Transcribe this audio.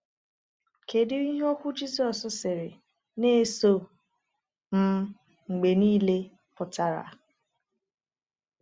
Kedu ihe okwu Jizọs sịrị “Na-eso m mgbe niile” pụtara?